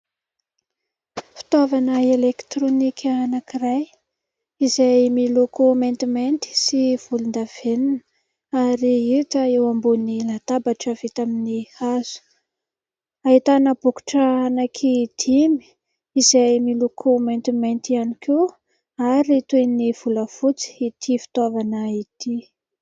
Fitaovana elektrônika anankiray izay miloko maintimainty sy volondavenona ary hita eo ambony latabatra vita amin'ny hazo ; ahitana bokotra anankidimy izay miloko maintimainty ihany koa ary toy ny volafotsy ity fitaovana ity.